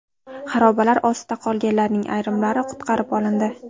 Xarobalar ostida qolganlarning ayrimlari qutqarib olindi.